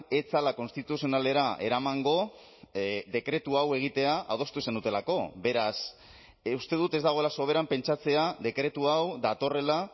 ez zela konstituzionalera eramango dekretu hau egitea adostu zenutelako beraz uste dut ez dagoela soberan pentsatzea dekretu hau datorrela